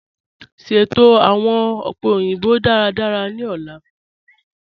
Sẹto awọn ọ̀pẹ̀ oyinbo dáràdárà ni ọ̀lá.